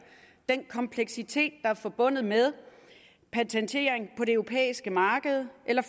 den kompleksitet er forbundet med patentering på det europæiske marked eller